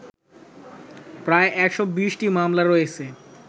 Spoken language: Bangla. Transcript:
প্রায় ১২০টি মামলা রয়েছে